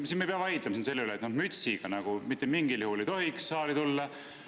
Siis me ei peaks siin vaidlema selle üle, et mütsiga mitte mingil juhul ei tohiks saali tulla.